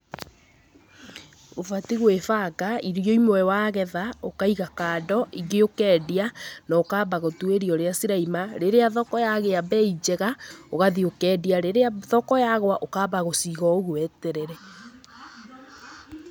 Ũbatiĩ gwĩbanga, irio imwe wagetha ũkaiga kando, ingĩ ũkendia, na ũkamba gũtuĩria ũrĩa cirauma. Rĩrĩa thoko yagĩa mbei njega ũgathiĩ ũkendia, rĩrĩa thoko yagũa ũkamba gũciga o ũguo weterere.